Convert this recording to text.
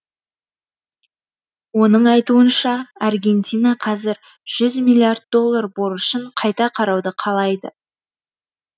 оның айтуынша аргентина қазір жүз миллиард доллар борышын қайта қарауды қалайды